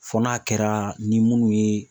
Fɔ n'a kɛra ni minnu ye